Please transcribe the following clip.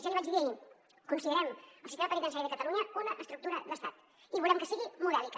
ja l’hi vaig dir ahir considerem el sistema penitenciari de catalunya una estructura d’estat i volem que sigui modèlica